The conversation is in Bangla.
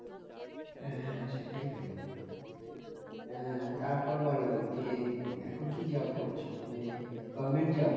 হ্যাঁ সেটাই তো, আহ তারপর বলো যে এখন কি job করছো? মানে government job?